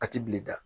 A ti bilen dɛ